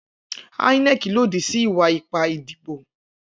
Inec lodi si iwa-ipa idibo